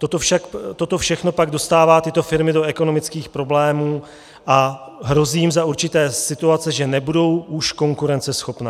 Toto všechno pak dostává tyto firmy do ekonomických problémů a hrozí jim za určité situace, že nebudou už konkurenceschopné.